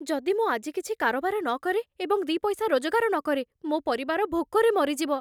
ଯଦି ମୁଁ ଆଜି କିଛି କାରବାର ନ କରେ ଏବଂ ଦି' ପଇସା ରୋଜଗାର ନ କରେ, ମୋ ପରିବାର ଭୋକରେ ମରିଯିବ।